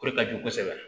O de ka jugu kosɛbɛ